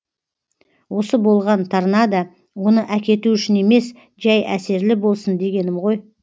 осы болған торнадо оны әкету үшін емес жәй әсерлі болсын дегенім ғой